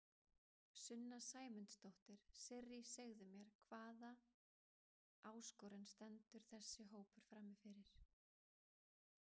Sunna Sæmundsdóttir: Sirrý segðu mér, hvað hvaða áskorun stendur þessi hópur frammi fyrir?